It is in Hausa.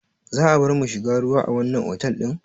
Za a barmu mu shiga ruwa a wannan otal ɗin?